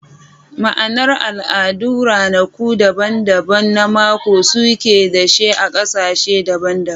Ma'anar al'adu da ranaku daban-daban na mako suke da shi a kasashe daban-daban.